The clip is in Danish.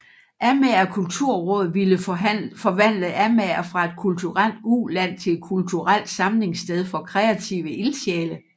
Amager Kulturråd ville forvandle Amager fra et kulturelt uland til et kulturelt samlingssted for kreative ildsjæle